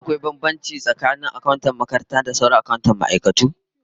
Ko akwai bambanci tsakanin akantocin manyan makarantu da sauran akantoci na wasu ma'aikatu?